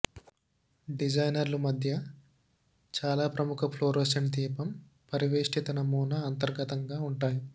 డిజైనర్లు మధ్య చాలా ప్రముఖ ఫ్లోరోసెంట్ దీపం పరివేష్టిత నమూనా అంతర్గతంగా ఉంటాయి